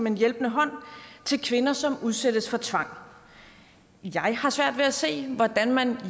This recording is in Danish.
en hjælpende hånd til kvinder som udsættes for tvang jeg har svært ved at se hvordan man